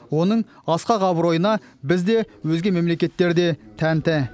оның асқақ абыройына біз де өзге мемлекеттер де тәнті